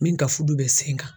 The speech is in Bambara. Min ka fudu bɛ sen kan.